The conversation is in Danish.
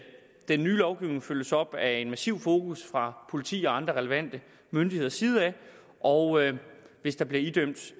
den nye lovgivning følges op af et massivt fokus fra politiet og andre relevante myndigheders side og hvis der bliver idømt